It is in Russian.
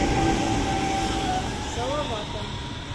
салаватом